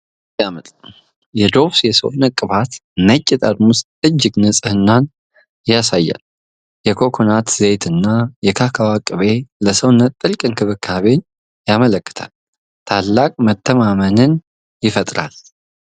ዋው ሲያምር! የዶቭ የሰውነት ቅባት ነጭ ጠርሙስ እጅግ ንጽህናን ያሳያል። የኮኮናት ዘይትና የካካዎ ቅቤ ለሰውነት ጥልቅ እንክብካቤን ያመለክታል። ታላቅ መተማመንን ይፈጥራል!